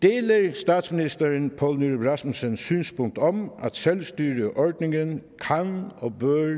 statsministeren poul nyrup rasmussens synspunkt om at selvstyreordningen kan og bør